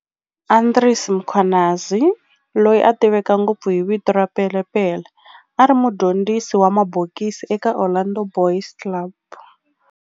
Andries Mkhwanazi, loyi a tiveka ngopfu hi vito ra Pele Pele, a ri mudyondzisi wa mabokisi eka Orlando Boys Club.